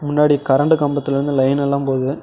முன்னாடி கரண்ட் கம்பத்துல இருந்து லைன் எல்லா போகுது.